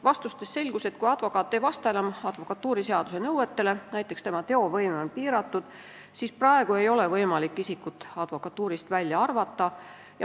Vastustest selgus, et kui advokaat ei vasta enam advokatuuriseaduse nõuetele, näiteks tema teovõime on piiratud, siis praegu ei ole võimalik isikut advokatuurist välja arvata.